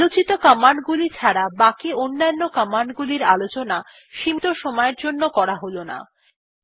আলোচিত কমান্ড গুলি ছাড়া বাকি অন্যান্য কমান্ড গুলির আলোচনা সীমীত সময়ের জন্য করা হল না